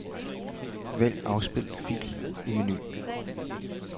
Vælg afspil fil i menu.